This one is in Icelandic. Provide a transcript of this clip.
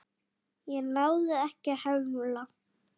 Ég náði ekki að hemla.